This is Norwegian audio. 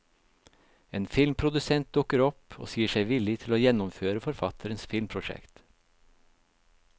En filmprodusent dukker opp og sier seg villig til å gjennomføre forfatterens filmprosjekt.